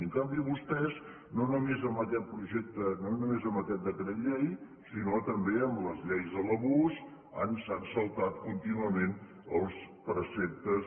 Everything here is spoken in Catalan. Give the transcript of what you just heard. i en canvi vostès no només amb aquest projecte no només amb aquest decret llei sinó que també amb les lleis de l’abús s’han saltat contínuament els preceptes